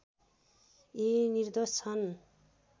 यी निर्दोष छन्